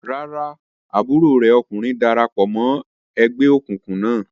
Rárá, àbúrò rẹ̀ ọkùnrin dara pọ̀ mọ́ ẹgbẹ́ òkùnkùn náà.